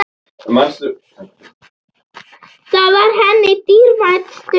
Það var henni dýrmæt stund.